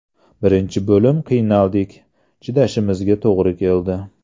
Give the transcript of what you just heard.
Birinchi bo‘lim qiynaldik, chidashimizga to‘g‘ri keldi.